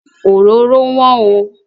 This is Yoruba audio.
Òróró wọ́n oo.